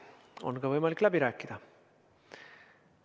On võimalik ka läbi rääkida.